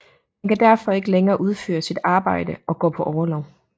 Han kan derfor ikke længere udføre sit arbejde og går på orlov